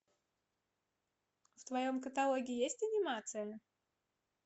в твоем каталоге есть анимация